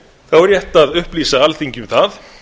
þá er rétt að upplýsa alþingi um það